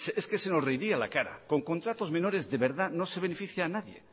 es que se nos reiría a la cara con contratos menores de verdad no se beneficia a nadie